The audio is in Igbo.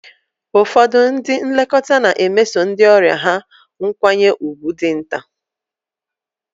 Ụfọdụ ndị nlekọta na-emeso ndị ọrịa ha nkwanye ùgwù dị nta.